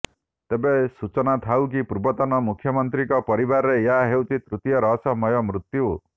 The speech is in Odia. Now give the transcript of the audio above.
ତେବେ ସାଚନା ଥାଉ କି ପୂର୍ବତନ ମୁଖ୍ୟମନ୍ତ୍ରୀଙ୍କ ପରିବାରରେ ଏହା ହେଉଛି ତୃତୀୟ ରହସ୍ୟମୟ ମୃତ୍ୟୁ